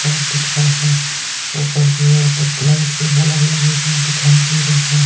Shop दिख रहा है। ऊपर की ओर कुछ लाइट के बल्ब लगे हुए दिखाई दे रहे हैं।